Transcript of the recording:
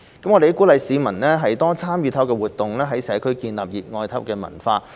我們鼓勵市民多參與體育活動，在社區建立熱愛體育的文化。